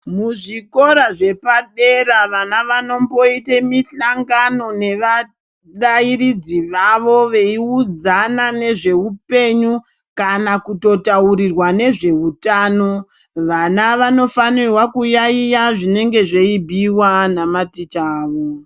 Muzvikora zvepadera vana vanomboita mihlngano nevarairidzi vavo veiudzana nezveupenyu kana kutotaurirwa ngezveutano. Vana vanofanira kuyaiya zvinenge zveibhuiwa namaticha avo.